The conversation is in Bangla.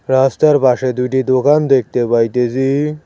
রাস্তার পাশে দুইটি দোকান দেখতে পাইতেছি।